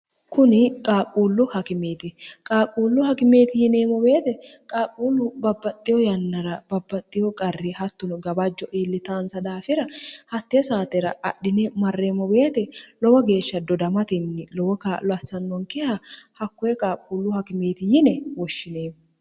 kuni qaaquullu hakimeeti qaaquullu hakimeeti yineemmo beete qaaquullu babbaxxiho yannara babbaxxiho qarri hattuno gabajjo iillitaansa daafira hatte saatera adhine marreemo beete lowo geeshsha dodamatinni lowo k loassannonkiha hakkoe qaaquullu hakimeeti yine woshshineemo